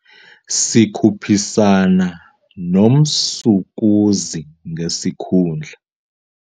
Sikhuphisana nomsukuzi ngesikhundla.